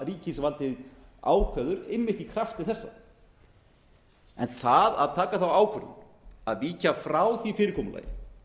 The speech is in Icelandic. ríkisvaldið ákveður einmitt í krafti þessa en það að taka þá ákvörðun að víkja frá því fyrirkomulagi